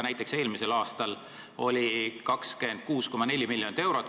Näiteks eelmisel aastal oli see 26,4 miljonit eurot.